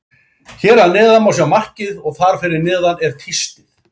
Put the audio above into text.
Hér að neðan má sjá markið og þar fyrir neðan er tístið.